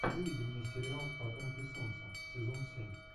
выведи мне сериал потомки солнца сезон семь